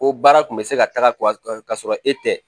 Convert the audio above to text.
Ko baara kun bɛ se ka taga ka sɔrɔ e tɛ